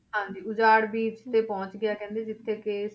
ਹਾਂਜੀ ਉਜਾੜ beach ਤੇ ਪਹੁੰਚ ਗਿਆ ਕਹਿੰਦੇ ਜਿੱਥੇ ਕਿ